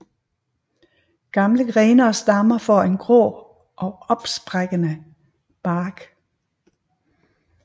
Gamle grene og stammer får en grå og opsprækkende bark